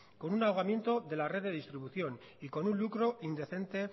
con un ahogamiento de la red de distribución y con un lucro indecente